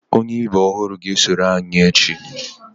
Onye ibe ọhụrụ ga-esonyere anyị n'echi